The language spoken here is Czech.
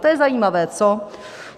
To je zajímavé, co?